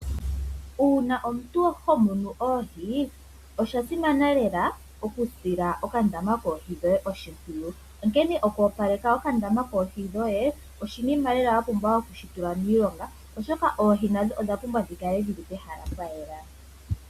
Uuna omuntu ho munu oohi osha simana lela okusila okandama koohi dhoye oshimpwiyu onkene okwoopaleka okandama koohi dhoye oshinima lela wa pumbwa okushi tula miilonga oshoka oohi nadho odha pumbwa dhi kale dhili pehala pwayela.